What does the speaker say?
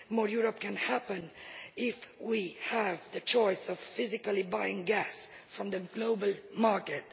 More Europe' can happen if we have the choice of physically buying gas from the global market.